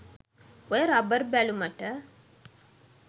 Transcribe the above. ඔය රබර් බැලුමට